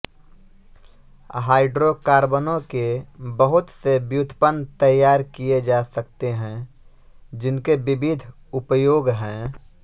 हाइड्रोकार्बनों के बहुत से व्युत्पन्न तैयार किए जा सकते हैं जिनके विविध उपयोग हैं